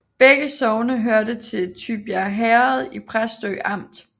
Begge sogne hørte til Tybjerg Herred i Præstø Amt